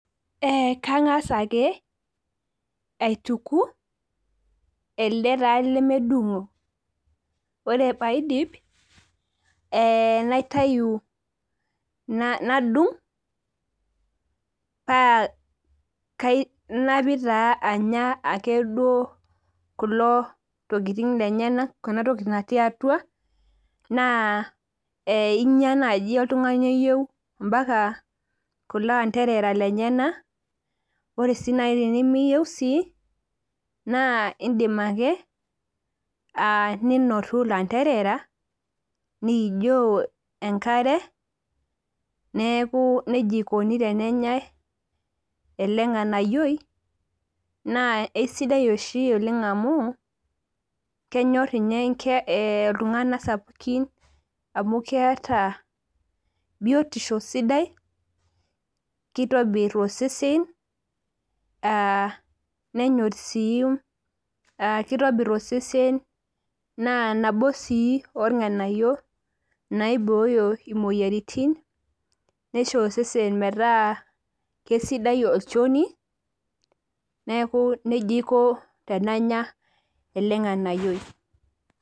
Kang'asa ake aituku, ele taa lemedung'o. Ore paidip, naitayu nadung', pa napik taa anya duo kulo tokiting lenyanak enatoki natii atua, naa inya naji oltung'ani oyieu mpaka kulo anterera lenyanak, ore si nai tenimiyieu si, naa idim ake ninotu lanterera, nijoo enkare, neeku nejia ikoni tenenyai ele ng'anayioi, naa esidai oshi oleng amu, kenyor inye iltung'anak sapukin amu keeta biotisho sidai, kitobir osesen, ah nenyor si kitobir osesen naa nabo si orng'anayio naiboyo imoyiaritin, nisho osesen metaa kesidai olchoni, neeku nejia aiko tenanya ele ng'anayioi.